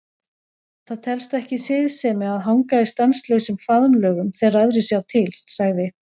Það telst ekki siðsemi að hanga í stanslausum faðmlögum þegar aðrir sjá til, sagði